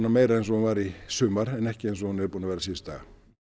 meira eins og hún var í sumar en ekki eins og hún er búin að vera síðustu daga